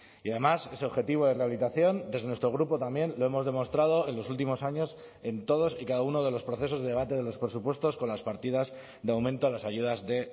y además ese objetivo de rehabilitación desde nuestro grupo también lo hemos demostrado en los últimos años en todos y cada uno de los procesos de debate de los presupuestos con las partidas de aumento a las ayudas de